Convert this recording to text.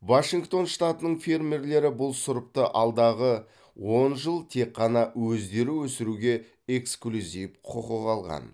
вашингтон штатының фермерлері бұл сұрыпты алдағы он жыл тек қана өздері өсіруге эксклюзив құқық алған